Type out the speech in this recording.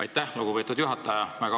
Aitäh, lugupeetud juhataja!